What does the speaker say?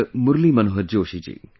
Murli Manohar Joshi ji